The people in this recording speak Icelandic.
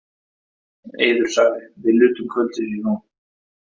Eiður sagði: Við nutum kvöldsins í Róm.